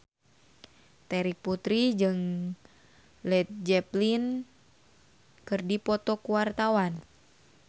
Terry Putri jeung Led Zeppelin keur dipoto ku wartawan